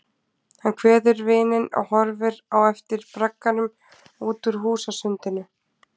Hann kveður vininn og horfir á eftir bragganum út úr húsasundinu.